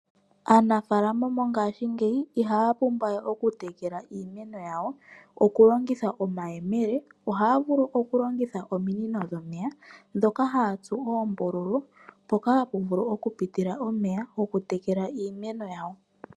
Aanafalama mongashingeyi ihaya pumbwa we okutekela iimeno yawo okulongitha omayemele, ohaya vulu okulongitha ominino dhomeya ndhoka haya tsu oombululu, mpoka hapu vulu okupitila omeya gokutekela iimeno yawo.